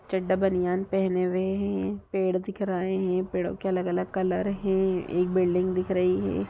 चड्डा बनियान पहने हुए हैं ये पेड़ दिख रहे हैं इन पेड़ों के अलग-अलग कलर है एक बिल्डिंग दिख रही है।